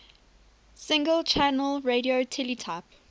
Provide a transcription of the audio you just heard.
single channel radio teletype